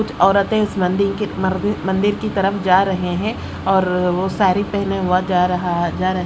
कुछ औरतें उस मंदिर के मर मंदिर की तरफ जा रहे हैं और वो सारी पहने हुआ जा रहा जा रहे--